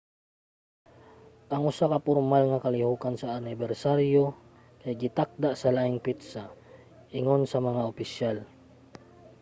ang usa ka pormal nga kalihokan sa anibersaryo kay gitakda sa laing petsa ingon sa mga opisyal